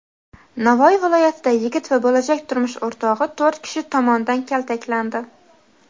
Navoiy viloyatida yigit va bo‘lajak turmush o‘rtog‘i to‘rt kishi tomonidan kaltaklandi.